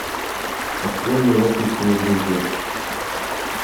открой мне ласточкино гнездо